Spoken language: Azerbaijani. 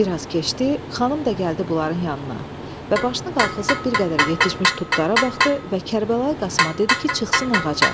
Bir az keçdi, xanım da gəldi bunların yanına və başını qaxızıb bir qədər yetişmiş tutlara baxdı və Kərbəlayi Qasımə dedi ki, çıxsın ağaca.